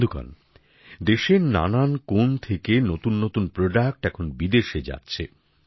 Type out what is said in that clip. বন্ধুগণ দেশের নানা কোণ থেকে নতুননতুন পণ্য এখন বিদেশে যাচ্ছে